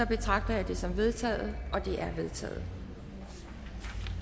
betragter jeg det som vedtaget vedtaget